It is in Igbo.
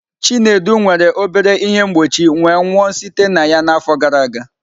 Chinedu nwere obere ihe mgbochi wee nwụọ site na ya n'afọ gara aga.